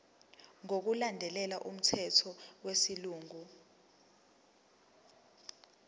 ngokulandela umthetho wesilungu